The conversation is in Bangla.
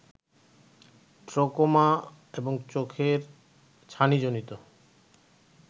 ট্রাকোমা এবং চোখের ছানিজনিত